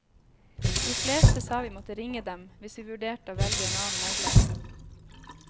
De fleste sa vi måtte ringe dem hvis vi vurderte å velge en annen megler.